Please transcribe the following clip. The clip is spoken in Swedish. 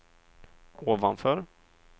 ovanför